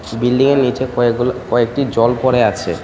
বিল্ডিংয়ের নীচে কয়েকগুলো কয়েকটি জল পড়ে আছে.